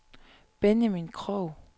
Benjamin Krogh